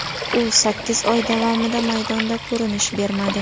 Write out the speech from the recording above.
U sakkiz oy davomida maydonda ko‘rinish bermadi.